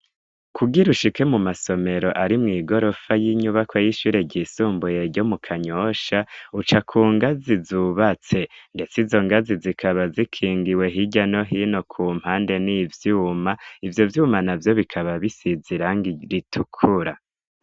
Kugira ushike mu masomero ari mw' igorofa y'inyubakwa y'ishure ryisumbuye ryo mu Kanyosha, uca ku ngazi zubatse. Ndetse izo ngazi zikaba zikingiwe hirya no hino ku mpande n'ivyuma. Ivyo vyuma na vyo bikaba bisize irangi ritukura.